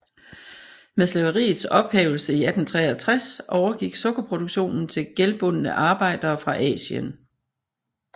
Med slaveriets ophævelse i 1863 overgik sukkerproduktionen til gældbundne arbejdere fra Asien